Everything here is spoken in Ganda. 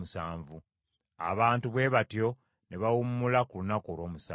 Abantu bwe batyo ne bawummula ku lunaku olw’omusanvu.